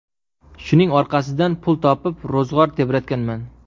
Shuning orqasidan pul topib, ro‘zg‘or tebratganman.